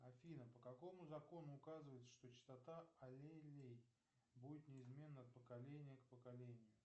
афина по какому закону указывается что частота аллелей будет неизменно от поколения к поколению